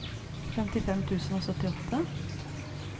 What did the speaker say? femtifem tusen og syttiåtte